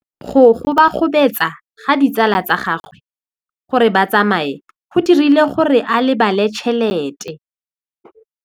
Go gobagobetsa ga ditsala tsa gagwe, gore ba tsamaye go dirile gore a lebale tšhelete.